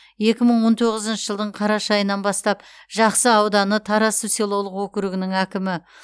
екі мың он тоғызыншы жылдың қараша айынан бастап жақсы ауданы тарасов селолық округінің әкімі